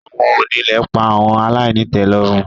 Awọn onile pa awọn alainitelorun